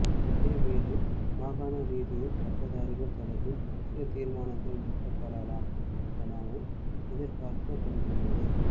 இதேவேளை மாகாண ரீதியில் பட்டதாரிகள் தொடர்பில் முக்கிய தீர்மானங்கள் எட்டப்படலாம் எனவும் எதிர்ப்பார்க்கப்படுகின்றது